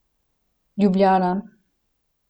Ljubljana.